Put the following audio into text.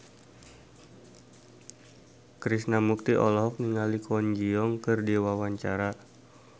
Krishna Mukti olohok ningali Kwon Ji Yong keur diwawancara